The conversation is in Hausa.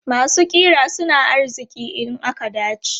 Masu ƙira suna arziki in aka dace.